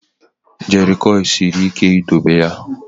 Jerrycurl siri ike idobe ya.